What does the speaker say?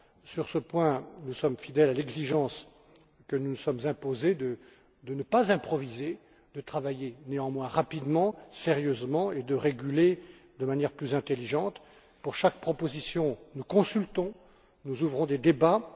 Sur ce point, nous sommes fidèles à l'exigence que nous nous sommes imposée de ne pas improviser, de travailler néanmoins rapidement, sérieusement, et de réguler de manière plus intelligente. Pour chaque proposition, nous consultons, nous ouvrons des débats.